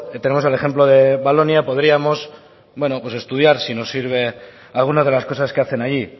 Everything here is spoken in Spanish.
tenemos el ejemplo de balónia podríamos estudiar si nos sirve algunas de las cosas que hacen allí